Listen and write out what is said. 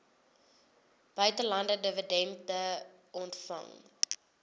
buitelandse dividende ontvang